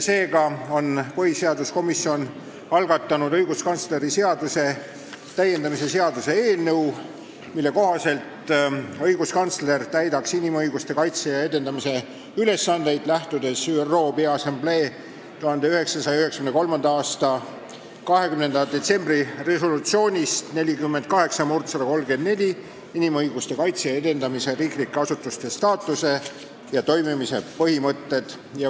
Seega on põhiseaduskomisjon algatanud õiguskantsleri seaduse täiendamise seaduse eelnõu, mille kohaselt täidaks õiguskantsler inimõiguste kaitse ja edendamise ülesandeid, lähtudes ÜRO Peaassamblee 1993. aasta 20. detsembri resolutsioonist 48/134 "Inimõiguste kaitse ja edendamise riiklike asutuste staatuse ja toimimise põhimõtted".